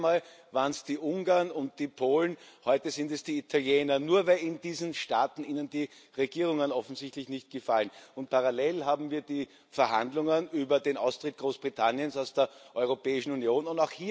Das letzte Mal waren es die Ungarn und die Polen, heute sind es die Italiener, nur weil in diesen Staaten Ihnen die Regierungen offensichtlich nicht gefallen. Parallel haben wir die Verhandlungen über den Austritt Großbritanniens aus der Europäischen Union.